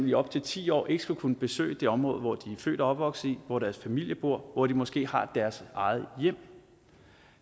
i op til ti år ikke skal kunne besøge det område hvor de er født og opvokset hvor deres familie bor eller hvor de måske har deres eget hjem